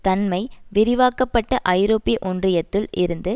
தன்மை விரிவாக்க பட்ட ஐரோப்பிய ஒன்றியத்துள் இருந்து